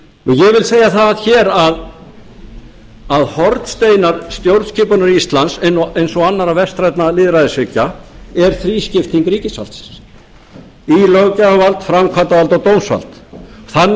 ég vil segja það hér að hornsteinar stjórnskipunar íslands eins og annarra vestrænna lýðræðisríkja er þrískipting ríkisvaldsins í löggjafarvald framkvæmdarvald og dómsvald þannig er